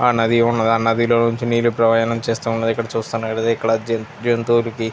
ఆ నది ఉన్నది ఆ నదిలో నుంచి నీరు ప్రవాహం చేస్తూ ఉన్నది. ఇక్కడ చూస్తూ ఉన్నట్టయితే ఇక్కడ జంతులకి --